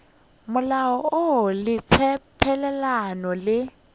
molao woo le tshepelelano le